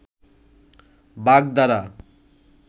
বাগধারা